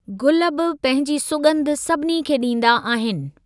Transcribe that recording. गुल बि पंहिंजी सुॻंधि सभिनी खे ॾींदा आहिनि।